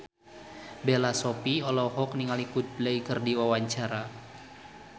Bella Shofie olohok ningali Coldplay keur diwawancara